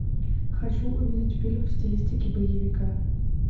хочу увидеть фильм в стилистике боевика